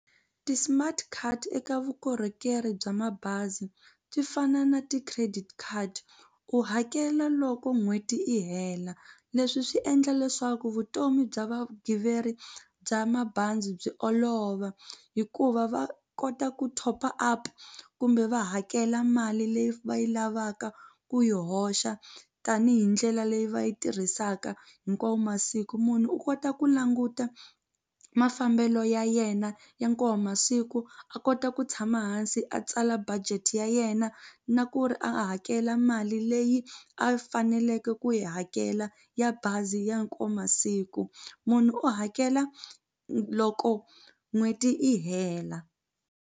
Ti-smart card eka vukorhokeri bya mabazi ti fana na ti-credit card u hakela loko n'hweti i hela leswi swi endla leswaku vutomi bya vagiveri bya mabazi byi olova hikuva va kota ku top-a up kumbe va hakela mali leyi va yi lavaka ku yi hoxa tanihi ndlela leyi va yi tirhisaka hinkwavo masiku munhu u kota ku languta mafambelo ya yena ya masiku a kota ku tshama hansi a tsala budget ya yena na ku ri a hakela mali leyi a faneleke ku yi hakela ya bazi ya masiku munhu u hakela loko n'hweti i hela.